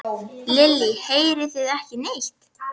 Lillý: Heyrið þið ekki neitt?